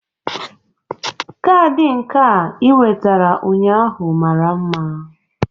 Kaadị nka ị wetara ụnyaahụ mara mma